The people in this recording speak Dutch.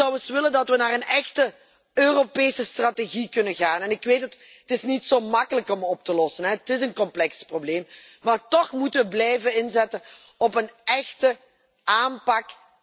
Ik zou willen dat we naar een echte Europese strategie kunnen gaan en ik weet het, het is niet zo gemakkelijk om op te lossen. Het is een complex probleem. Maar toch moeten we blijven inzetten op een echte omvattende aanpak.